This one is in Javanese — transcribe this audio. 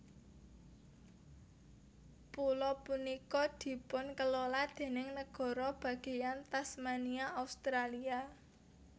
Pulo punika dipunkelola déning Nagara Bagéyan Tasmania Australia